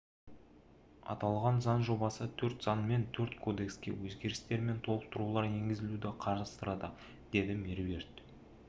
аталған заң жобасы төрт заң мен төрт кодекске өзгерістер мен толықтырулар енгізуді қарастырады деді меруерт